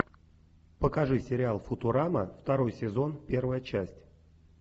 покажи сериал футурама второй сезон первая часть